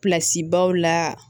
baw la